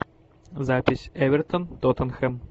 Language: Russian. запись эвертон тоттенхэм